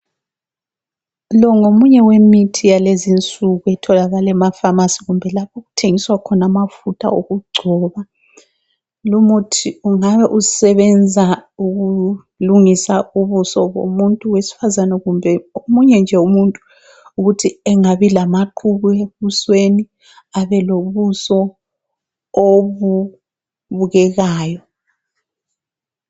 Lo ngolomunye wemithi walezi insuku otholakala ema pharmacy kumbe lapho okuthengiswa khona amafutha okugcobo ,lumuthi ungabe usebenza ukulungisa ubuso bomuntu wesifazane kumbe omunye nje umuntu ukuthi engabi lamaqhubu ebusweni abelobuso obubukekayo